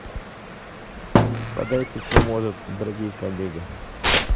подайте кто может дорогие коллеги